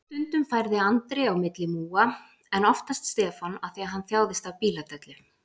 Stundum færði Andri á milli múga, en oftast Stefán af því hann þjáðist af bíladellu.